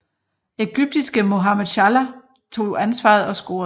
Egyptiske Mohamed Salah tog ansvaret og scorede